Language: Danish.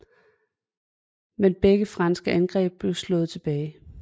Men begge franske angreb blev slået tilbage